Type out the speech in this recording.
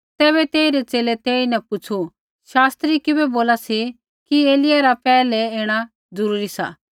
तैबै तेइरै च़ेले तेईन पुछ़ू शास्त्री किबै बोला सी कि एलिय्याह रा पैहलै ऐणा जरूरी सा